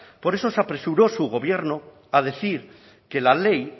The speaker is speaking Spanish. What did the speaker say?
por eso se apresuró su gobierno a decir que la ley